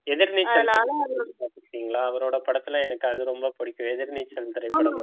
எதிர்நீச்சல் படம் பார்த்திருக்கீங்களா அவரோட படத்துல எனக்கு அது ரொம்ப பிடிக்கும் எதிர்நீச்சல் திரைப்படம்